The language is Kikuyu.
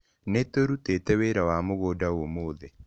Nĩ tũrutĩte wĩra wa mũgũnda ũmũthĩ